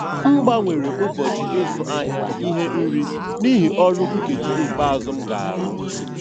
M gbanwere ụbọchị ịzụ ahịa ihe nri n'ihi ọrụ nkeji ikpeazụ m ga-arụ.